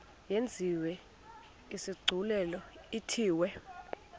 yenziwe isigculelo ithiwe